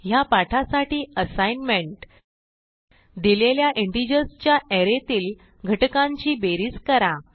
ह्या पाठासाठी असाईनमेंट दिलेल्या इंटिजर्स च्या अरे तील घटकांची बेरीज करा